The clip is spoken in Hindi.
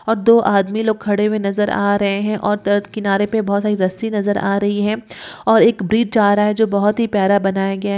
और दो आदमी लोग खड़े हुए नजर आ रहे हैं और तत किनारे पे बहोत सारी रस्सी नजर आ रही हैं और एक ब्रिज जा रहा है जो बहुत ही प्यारा बनाया गया --